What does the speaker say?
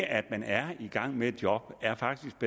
at man er i gang med et job er faktisk